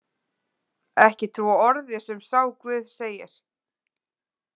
Ekki trúa orði sem sá guð segir